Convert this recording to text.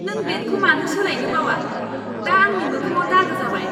नों ब्लेडखौ मानो सोलायनो बावआ? दा आंनि मोखांआव दागो जाबाय!